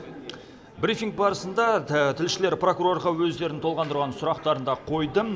брифинг барысында тілшілер прокурорға өздерін толғандырған сұрақтарын да қойды